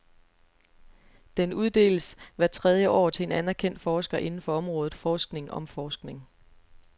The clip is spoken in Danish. Den uddeles hvert tredie år til en anerkendt forsker inden for området forskning om forskning.